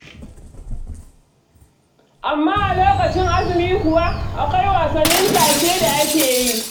Amma a lokacin azumi kuwa, akwai wasannin tashe da ake yi.